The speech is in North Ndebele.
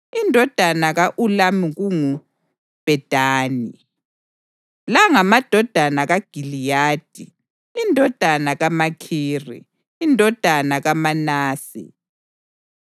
Indodana ka-Ulamu kungu: Bhedani. La ngamadodana kaGiliyadi, indodana kaMakhiri, indodana kaManase.